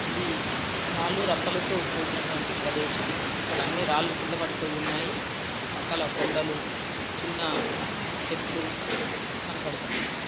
ఇది రాళ్లు రప్పలతో కూడినటువంటి ప్రెదేసం ఇక్కడ అన్ని రాళ్ళూ కింద పడిపోయి ఉన్నాయి పక్కన కొండలు చిన్న చెట్లు కనపడ్తున్నాయి.